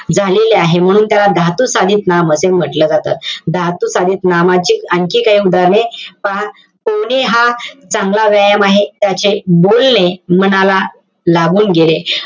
झालेले आहे. म्हणून त्याला धातुसाधित नाम असे म्हंटल जातं. धातुसाधित नामाचे आणखी काही उधाहरणं पहा. पोहणे हा चांगला व्यायाम आहे. त्याचे बोलणे मनाला लागून गेले.